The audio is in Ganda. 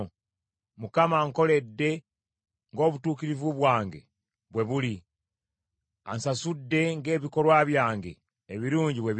Mukama ankoledde ng’obutuukirivu bwange bwe buli, ansasudde ng’ebikolwa byange ebirungi bwe biri.